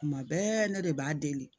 Kuma bɛɛ ne de b'a deli